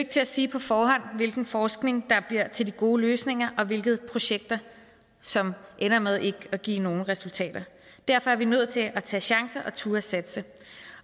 til at sige på forhånd hvilken forskning der bliver til de gode løsninger og hvilke projekter som ender med ikke at give nogen resultater derfor er vi nødt til at tage chancer og turde satse